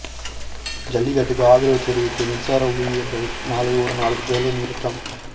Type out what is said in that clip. ஜல்லிக்கட்டுக்கு ஆதரவு தெரிவித்து மின்சார ஊழியர்கள் நாளை ஒருநாள் வேலை நிறுத்தம்